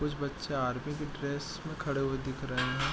कुछ बच्चा आर्मी की ड्रेस में ड्रेस में खड़े हुए दिख रहे हैं।